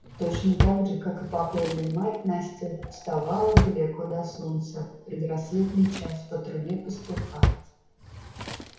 точно так же как и покойная мать настя вставала далеко до солнца в предрассветный час по трубе пастуха